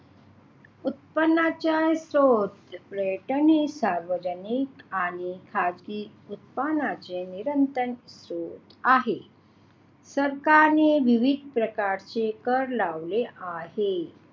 उत्पादनाचे शोध पर्यटन हे सार्वजनिक आणि खासगी उत्पन्नाचे निरंतर होत आहे सरकारी विविध प्रकारचे कर लावले आहे